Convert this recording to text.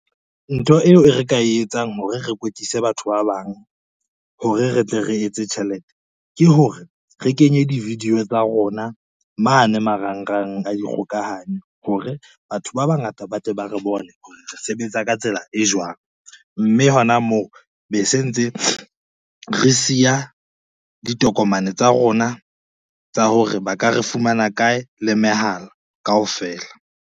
Ntho eo e re ka e etsang hore re kwetlise batho ba bang hore re tle re etse tjhelete, ke hore re kenye di-video tsa rona mane marangrang a dikgokahanyo, hore batho ba bangata ba tle ba re bone hore re sebetsa ka tsela e jwang, mme hona moo be se ntse re siya ditokomane tsa rona tsa hore ba ka re fumana kae le mehala kaofela.